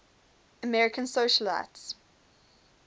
american socialites